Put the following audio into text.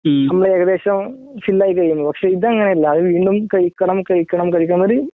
നമ്മളേകദേശം ഫുള്ളായി പക്ഷെ ഇതങ്ങനെയല്ല ഇത് വീണ്ടും കഴിക്കണം കഴിക്കണം